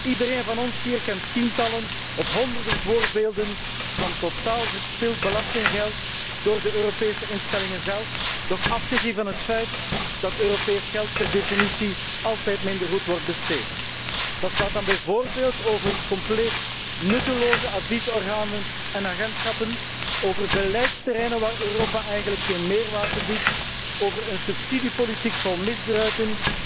Iedereen van ons hier kent tientallen of honderden voorbeelden van totaal verspild belastinggeld door de Europese instellingen zelf, nog afgezien van het feit dat Europees geld per definitie altijd minder goed wordt besteed. Dat gaat dan bijvoorbeeld over compleet nutteloze adviesorganen en agentschappen, over beleidsterreinen waar Europa eigenlijk geen meerwaarde biedt, over een subsidiebeleid vol misbruiken,